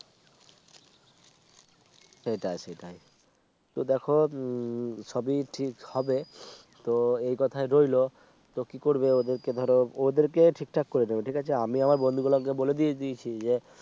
সেটাই সেটাই তো দেখো উম সবই ঠিক হবে তো এই কথাই রইল তো কি করবে ওদেরকে ধরো ওদেরকে ঠিকঠাক করে দেবে ঠিক আছে আমি আমার বন্ধুগুলোকে বলে দিয়ে দিয়েছি যে